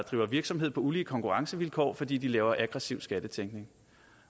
driver virksomhed på ulige konkurrencevilkår fordi de laver aggressiv skattetænkning